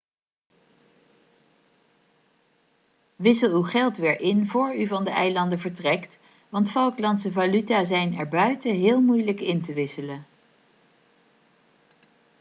wissel uw geld weer in vóór u van de eilanden vertrekt want falklandse valuta zijn erbuiten heel moeilijk in te wisselen